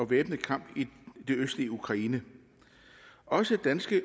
væbnede kamp i det østlige ukraine og danske